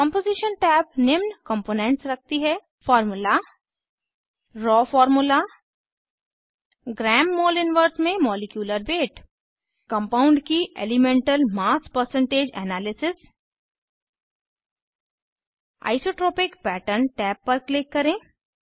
composition tabs निम्न components रखती है formula raw formula gmol 1grammole inverse में मॉलक्यूलर वेट कंपाउंड की elemental mass percentage analysis isotropic pattern tab पर click करें